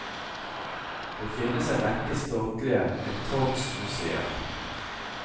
Det finnes en rekke statlige etatsmuseer.